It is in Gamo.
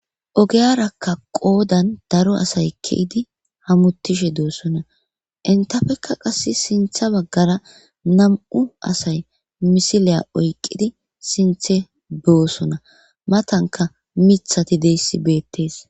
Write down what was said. ogeyarakka qoodan daro asay keidi hamutishe doossona intafekka qass sintha baggara nam7u asay misiliya oyqqidi sinthe boosona matanka mithati deyssi beettees